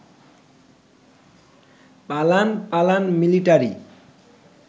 পালান পালান মিলিটারি